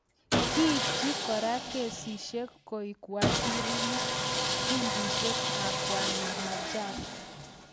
kikchin kora kasishek koek wazirinik kundishek ab Bwana Machar